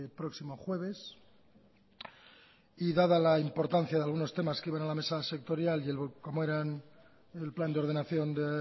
próximo jueves y dada la importancia de algunos temas que iban a la mesa sectorial como eran el plan de ordenación de